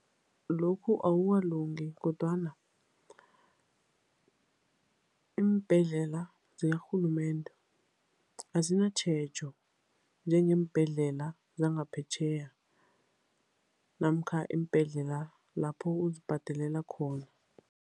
Lokhu akukalungi kodwana iimbhedlela zikarhulumende azinatjhejo njengeembhedlela zangaphetjheya namkha iimbhedlela lapho uzibhadelela khona.